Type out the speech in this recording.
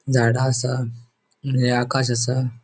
झाडा असा निळे आकाश असा.